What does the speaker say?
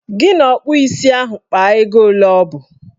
Gị na ọkpụ isi ahụ kpaa ego ole ọbụ!